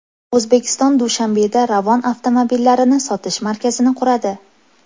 O‘zbekiston Dushanbeda Ravon avtomobillarini sotish markazini quradi.